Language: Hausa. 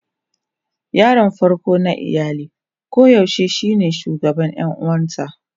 Yaron farko na iyali koyaushe shine shugaban ƴan uwansa.